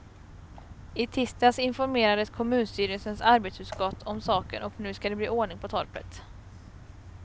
I tisdags informerades kommunstyrelsens arbetsutskott om saken och nu skall det bli ordning på torpet.